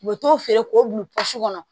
U bɛ t'o feere k'o bila kɔnɔ